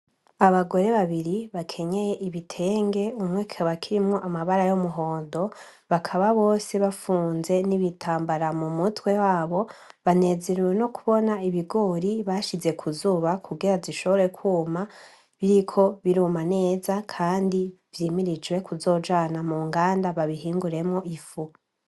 Abagore babiri bakenyeye ibitenge umwe kikaba kirimwo amabara y'umuhondo, bakaba bose bafunze n'ibitambara mu mutwe wabo banezerewe no kubona ibigori bashize kuzuba kugira zishobore kwuma biriko biruma neza, kandi vyimirijwe kuzojana mu nganda babi hinguremwo ifu.